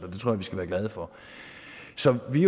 skal være glade for så vi